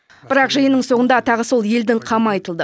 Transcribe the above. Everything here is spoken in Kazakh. бірақ жиынның соңында тағы сол елдің қамы айтылды